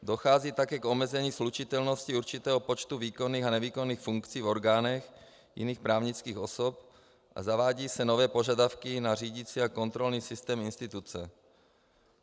Dochází také k omezení slučitelnosti určitého počtu výkonných a nevýkonných funkcí v orgánech jiných právnických osob a zavádějí se nové požadavky na řídicí a kontrolní systém instituce.